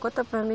Conta para mim.